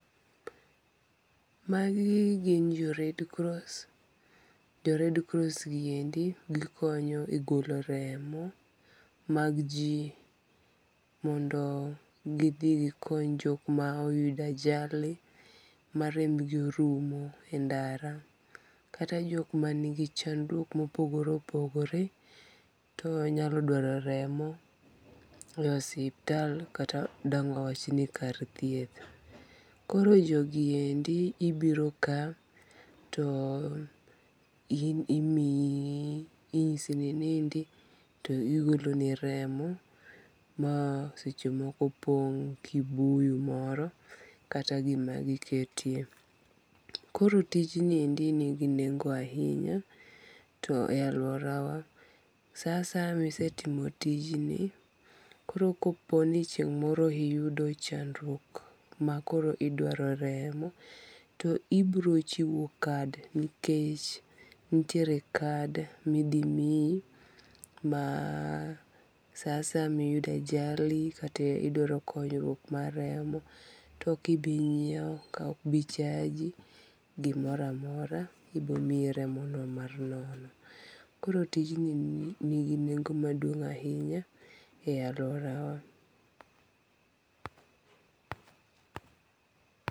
Magi gin jo Red cross, jo Red cross gi endi gikonyo e golo remo mag ji mondo gi thi gikony jok ma oyudo ajali ma rembgi orumo endara, kata jok ma nigi chandruok mopogore opogore, to nyalo dwaro remo, e ospital kata dang' wawachni kar thieth, koro jogi endi ibiro ka to in imiyi inyisi ni inindi to gigoloni remo ma sechemoko pong' kibuyu moro kata gima giketie, koro tijni nigi nengo' ahinya to e aluorawa sa asaya sama isetimo tijni koro koponi chieny moro iyudo chandruok ma koro idwaro remo, to ibiro chiwo card nikech nitiere card ma ithi miyi ma saasaya ma ayudo ajali kata idwaro konyruok mar remo to okibinyiewo ka okbichaji gimoro amora ibiro miyi remono mar nono, koro tijni nigi nengo' maduong' ahinya e aluorawa.